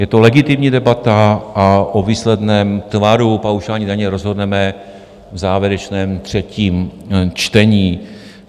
Je to legitimní debata a o výsledném tvaru paušální daně rozhodneme v závěrečném třetím čtení.